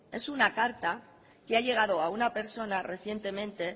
es una carta que ha llegado a una persona recientemente